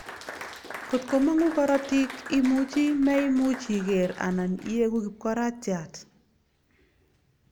Ngot komangu korotik, imuchi meimuch iger anan iegu kipkoraatiat